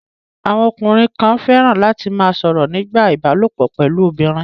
Àwọn ọkùnrin kan fẹ́ràn láti ma sọ̀rọ̀ nípa ìbálòpọ̀ pẹ̀lú obìnrin